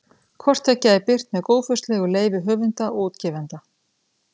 Hvort tveggja er birt með góðfúslegu leyfi höfunda og útgefanda.